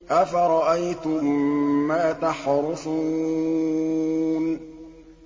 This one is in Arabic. أَفَرَأَيْتُم مَّا تَحْرُثُونَ